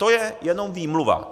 To je jenom výmluva.